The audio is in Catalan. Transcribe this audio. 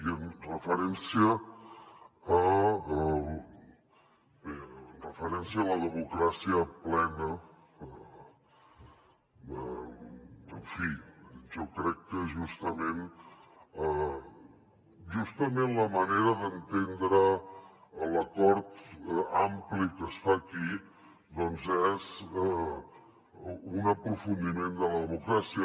i amb referència a la democràcia plena en fi jo crec que justament la manera d’entendre l’acord ampli que es fa aquí és un aprofundiment de la democràcia